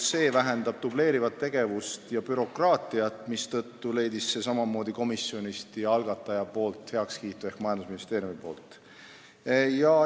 Eesmärk on vähendada dubleerivat tegevust ja bürokraatiat ning nii leidis see komisjoni ja algataja ehk majandusministeeriumi heakskiidu.